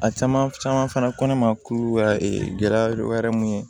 A caman caman fana ko ne ma k'u ka gɛlɛya dɔ wɛrɛ mun ye